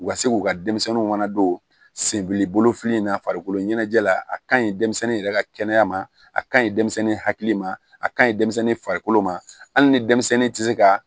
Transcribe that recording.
U ka se k'u ka denmisɛnninw fana don sebili bolofili in na farikolo ɲɛnajɛ la a ka ɲi denmisɛnnin yɛrɛ ka kɛnɛya ma a kaɲi denmisɛnnin hakili ma a ka ɲi denmisɛnnin farikolo ma hali ni denmisɛnnin tɛ se ka